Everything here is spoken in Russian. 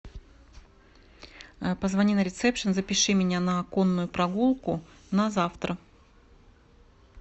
позвони на ресепшн запиши меня на конную прогулку на завтра